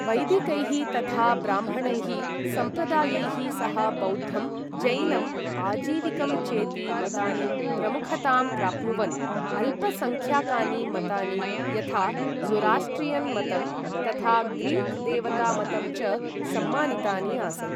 वैदिकैः तथा ब्राह्मणैः सम्प्रदायैः सह बौद्धं, जैनम्, अजीविकं चेति मतानि प्रमुखतां प्राप्नुवन्, अल्पसङ्ख्याकानि मतानि यथा ज़ोरास्ट्रियन् मतं तथा ग्रीक् देवता मतं च सम्मानितानि आसन्।